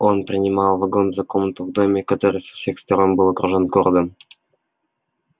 он принимал вагон за комнату в доме который со всех сторон был окружён городом